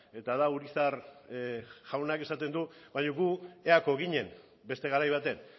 eta da urizar jaunak esaten du baino gu eako ginen beste garai baten